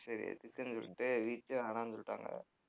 சரி எதுக்குன்னு சொல்லிட்டு வீட்லயே வேணான்னு சொல்லிட்டாங்க.